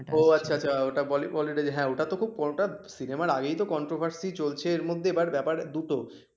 সিনেমার আগেই তো controversy চলছে এর মধ্যে বাট ব্যাপার দুটো